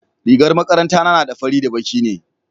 rigar makaranta na na da baƙi da fari ne